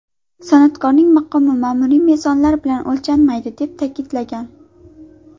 San’atkorning maqomi ma’muriy mezonlar bilan o‘lchanmaydi”, deb ta’kidlagan.